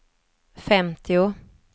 femtio